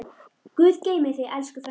Guð geymi þig, elsku frænka.